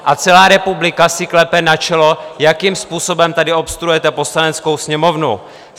A celá republika si klepe na čelo, jakým způsobem tady obstruujete Poslaneckou sněmovnu.